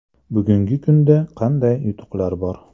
–Bugungi kunda qanday yutuqlar bor?